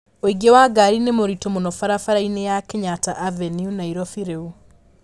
ũingĩ wa ngari nĩ mũritu muno barabara-inĩ ya Kenyatta avenue Nairobi rĩu